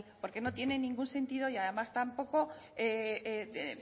porque no tiene ningún sentido y además